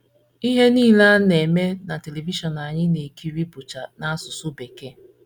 Ihe nile a na - eme na Televishọn anyị na - ekiri bụcha n’asụsụ Bekee.